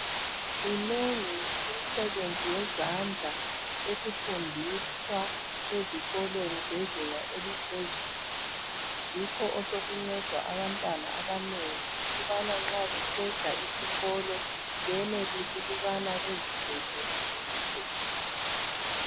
Minengi imsebenzi yezandla esifundiswa ezikolweni zezinga eliphezulu, yikho osokunceda abantwana abanengi ukubana nxa beqeda isikolo benelise ukubana bazisebenze bezuze imali.